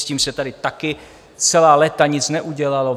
S tím se tady taky celá léta nic neudělalo.